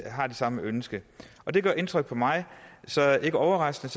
samme ønske det gør indtryk på mig så ikke overraskende